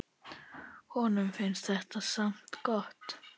Honum finnst þetta samt gott.